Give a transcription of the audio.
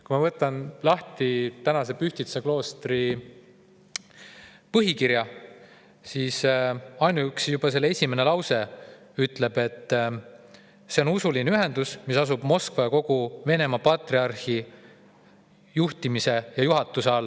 Kui ma võtan lahti Pühtitsa kloostri põhikirja, siis juba selle esimene lause ütleb, et see on usuline ühendus, mis tegutseb Moskva ja kogu Venemaa patriarhi juhtimise ja juhatuse all.